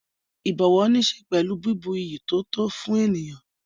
Ìbọ̀wọ̀ níṣe pẹ̀lú bíbu iyì tó tó fún ènìyàn.